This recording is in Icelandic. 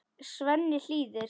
Svenni hlýðir.